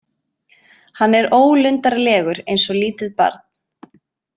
Hann er ólundarlegur eins og lítið barn.